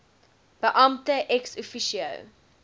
beampte ex officio